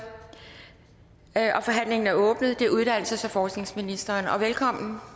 forhandlingen er åbnet det er uddannelses og forskningsministeren og velkommen